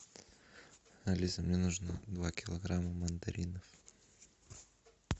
алиса мне нужно два килограмма мандаринов